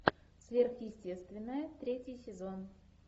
сверхъестественное третий сезон